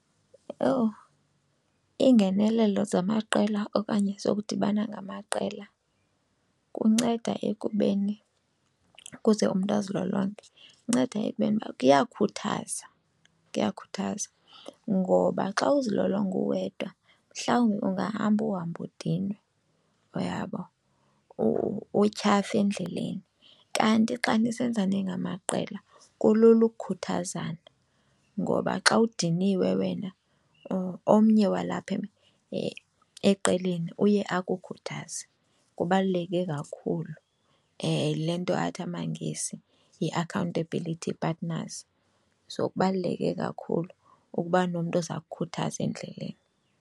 Owu, iingenelelo zamaqela okanye zokudibana ngamaqela kunceda ekubeni ukuze umntu azilolonge kunceda ekubeni uba kuyakhuthaza. Kuyakhathaza ngoba xa uzilolonga uwedwa mhlawumbi ungahamba uhambe udinwe, uyabo, utyhafe endleleni. Kanti xa nisenza ningamaqela kulula ukukhuthazana ngoba xa udiniwe wena omnye walapha eqeleni uye akukhuthaze, kubaluleke kakhulu. Yile nto athi amaNgesi yi-accountability partners. So kubaluleke kakhulu ukuba nomntu oza kukhuthaza endleleni.